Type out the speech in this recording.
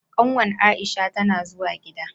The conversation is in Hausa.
Kanwar Aisha tana zuwa gida.